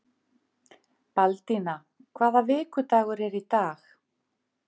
Baldína, hvaða vikudagur er í dag?